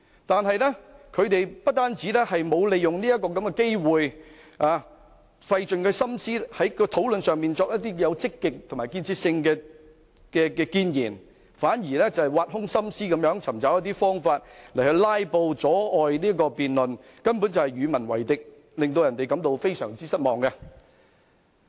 但他們不單沒有利用這個機會在討論中費心思作出積極和有建設性的建議，反而挖空心思尋找方法進行"拉布"，阻礙辯論，根本是與民為敵，令人感到非常失望。